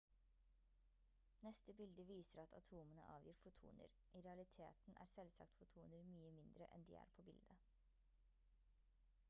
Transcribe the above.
neste bilde viser at atomene avgir fotoner i realiteten er selvsagt fotoner mye mindre enn de er på bildet